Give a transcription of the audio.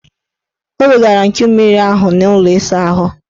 O wegara nchummiri ahụ n' ụlọ ịsaahụ.